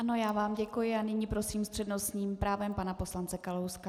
Ano, já vám děkuji a nyní prosím s přednostním právem pana poslance Kalouska.